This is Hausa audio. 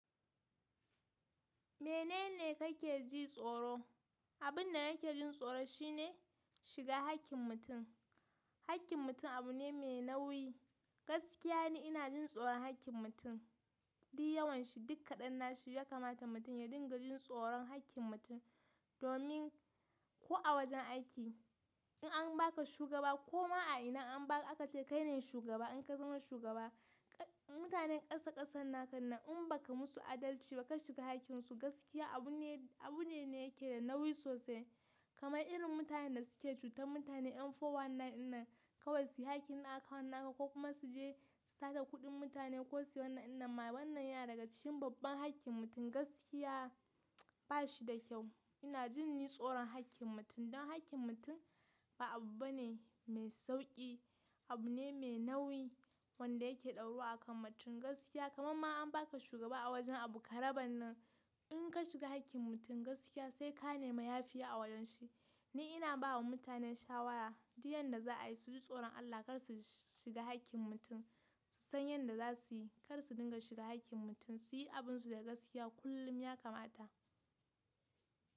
Menene kake ji tsoro? Abin da nake jin tsoro shi ne shiga hakkin mutum. Hakkin mutum abu ne mai nauyi. Gaskiya ne ina jin tsoron hakkin mutum. Duk yawan shi duk kadannashi ya kamata mutum ya dinga jin tsoron hakkin mutum, domin ko a wajen aiki in an baka shugaba ko ma a ina an ba akace kaine shugaba in ka zama shugaba, mutanen kasa kasan naka nan in baka musu adalci ba ka shiga hakkin su gaskiya abun abu ne ne yake da nauyi sosai. Kamai irin mutanen da suke cutar mutane yan 419 dinnan kawai su yi hakkin account naka ko kuma su je su sata kuɗin mutane ko su wani ina ma wannan yana daga cikin babban hakkin mutum gaskiya ba shi da kyau. Ina jin ni tsoron hakkin mutum dan hakkin mutum ba abu bane mai sauƙi, abu ne mai nauyi wanda yake dauru akan mutum gaskiya. Kamam ma an baka shugaba a wajen abu karaban nan, in ka shiga hakkin mutum gaskiya sai ka ne ma yafiya a wajen shi. Ni ina bawa mutane shawara duk yanda za'a yi su ji tsoron Allah kar su shiga hakkin mutum, su san yanda za su yi kar su dinga shiga hakkin mutum su yi abunsu da gaskiya kullum ya kamata.